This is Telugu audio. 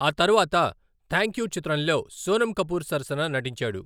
ఆ తర్వాత 'థ్యాంక్యూ' చిత్రంలో సోనమ్ కపూర్ సరసన నటించాడు.